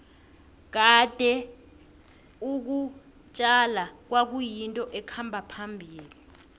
kade ukutjala kwayinto ekhamba phambili